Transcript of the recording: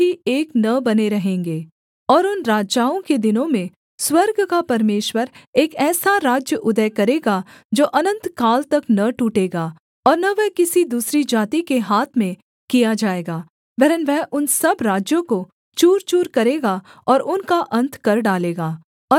और उन राजाओं के दिनों में स्वर्ग का परमेश्वर एक ऐसा राज्य उदय करेगा जो अनन्तकाल तक न टूटेगा और न वह किसी दूसरी जाति के हाथ में किया जाएगा वरन् वह उन सब राज्यों को चूरचूर करेगा और उनका अन्त कर डालेगा और वह सदा स्थिर रहेगा